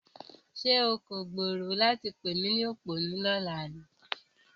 Ṣé o kò gbèrò láti pè mí ní òpònú ní ọ̀la ni?